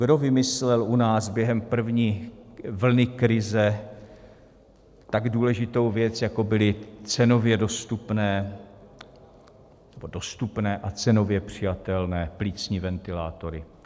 Kdo vymyslel u nás během první vlny krize tak důležitou věc, jako byly cenově dostupné, nebo dostupné a cenově přijatelné plicní ventilátory?